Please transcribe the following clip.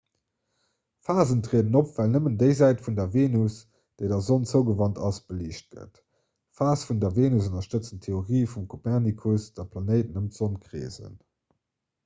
phasen trieden op well nëmmen déi säit vun der venus oder vum mound déi der sonn zougewant ass beliicht gëtt. d'phase vun der venus ënnerstëtzen d'theorie vum kopernikus datt d'planéiten ëm d'sonn kreesen